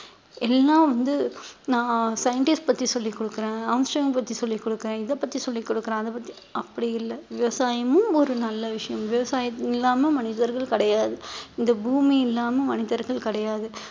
எல்லாம் வந்து நான் scientist பத்தி சொல்லிக் கொடுக்கிறேன் பத்தி சொல்லிக் கொடுக்கிறேன் இதைப் பத்தி சொல்லிக் கொடுக்குறேன் அதைப் பத்தி அப்படி இல்லை விவசாயமும் ஒரு நல்ல விஷயம் விவசாயம் இல்லாம மனிதர்கள் கிடையாது இந்த பூமி இல்லாமல் மனிதர்கள் கிடையாது